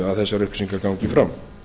að þessar upplýsingar gangi fram